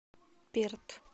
перт